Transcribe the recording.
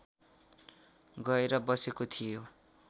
गएर बसेको थियो